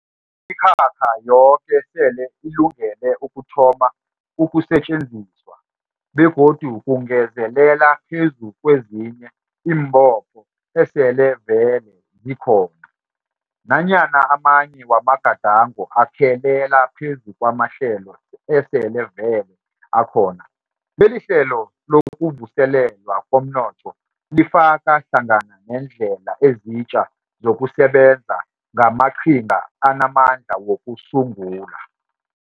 Imikhakha yoke sele ilungele ukuthoma ukusetjenziswa, begodu kungezelela phezu kwezinye iimbopho esele vele zikhona. Nanyana amanye wamagadango akhelela phezu kwamahlelo esele vele akhona, lelihlelo lokuvuselelwa komnotho lifaka hlangana neendlela ezitja zokusebenza ngamaqhinga anamandla wokusungula.